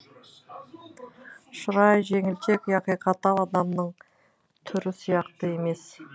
шырайы жеңілтек яки қатал адамның түрі сияқты емес